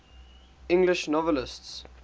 english novelists